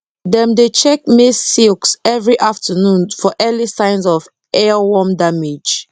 dem dey check maize silks every afternoon for early signs of earworm damage